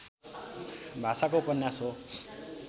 भाषाको उपन्यास हो